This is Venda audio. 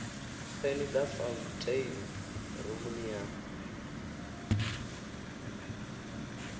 peni dza fauntheini rumuni ya